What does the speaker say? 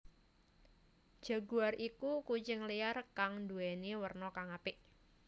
Jaguar iku kucing liar kang nduwèni werna kang apik